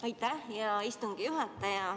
Aitäh, hea istungi juhataja!